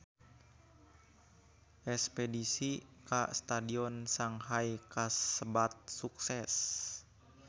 Espedisi ka Stadion Shanghai kasebat sukses